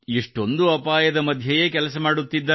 ಎಷ್ಟೊಂದು ಅಪಾಯದ ಮಧ್ಯೆಯೇ ಕೆಲಸ ಮಾಡುತ್ತಿದ್ದಾರೆ